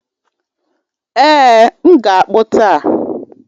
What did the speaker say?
Ee, m ga-akpu taa